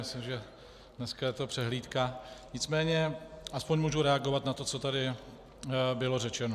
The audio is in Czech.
Myslím, že dneska je to přehlídka, nicméně aspoň můžu reagovat na to, co tady bylo řečeno.